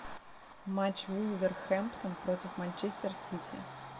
матч вулверхэмптон против манчестер сити